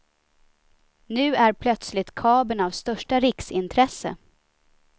Nu är plötsligt kabeln av största riksintresse.